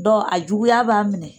Dɔn a juguya b'a minɛ